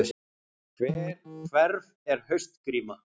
Hverf er haustgríma